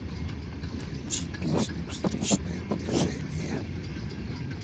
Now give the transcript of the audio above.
включи песню встречное движение